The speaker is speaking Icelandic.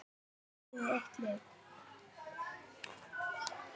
Er liðið eitt lið?